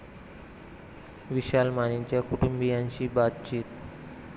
विशाल मानेच्या कुटुंबीयांशी बातचित